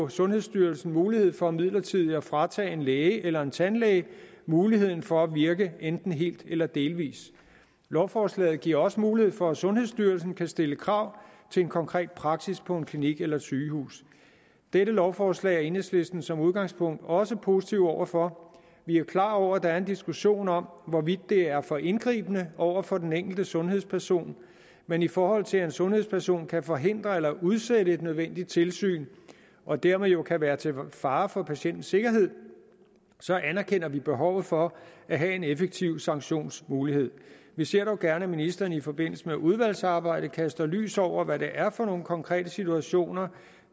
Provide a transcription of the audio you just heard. sundhedsstyrelsen mulighed for midlertidigt at fratage en læge eller en tandlæge muligheden for at virke enten helt eller delvis lovforslaget giver også mulighed for at sundhedsstyrelsen kan stille krav til en konkret praksis på en klinik eller et sygehus dette lovforslag er enhedslisten som udgangspunkt også positive over for vi er jo klar over at der er en diskussion om hvorvidt det er for indgribende over for den enkelte sundhedsperson men i forhold til at en sundhedsperson kan forhindre eller udsætte et nødvendigt tilsyn og dermed jo kan være til fare for patientens sikkerhed anerkender vi behovet for at have en effektiv sanktionsmulighed vi ser dog gerne at ministeren i forbindelse med udvalgsarbejdet kaster lys over hvad det er for nogle konkrete situationer